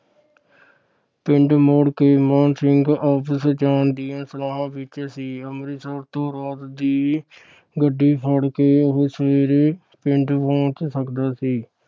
ਪਿੰਡ ਮੁੜ ਕੇ ਮਾਣ ਸਿੰਘ ਵਾਪਸ ਜਾਣ ਦੀਆਂ ਸਲਾਹਾਂ ਵਿਚ ਸੀ। ਅੰਮ੍ਰਿਤਸਰ ਤੋਂ ਰਾਤ ਦੀ ਗੱਡੀ ਫੜ ਕੇ ਉਹ ਸਵੇਰੇ ਪਿੰਡ ਪਹੁੰਚ ਸਕਦਾ ਸੀ।